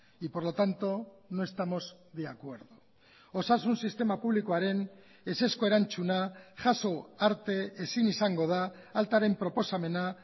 y por lo tanto no estamos de acuerdo osasun sistema publikoaren ezezko erantzuna jaso arte ezin izango da altaren proposamena